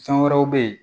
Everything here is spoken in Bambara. Fɛn wɛrɛw bɛ ye